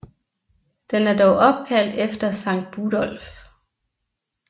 Den er dog opkaldt efter Sankt Budolf